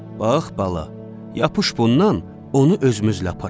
Bax, bala, yapış bundan, onu özümüzlə aparaq.